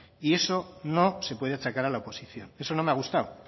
y eso no se puede achacar a la oposición eso no me ha gustado